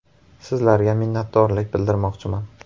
“Sizlarga minnatdorlik bildirmoqchiman.